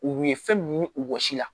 U ye fɛn mun ni u wɔsi la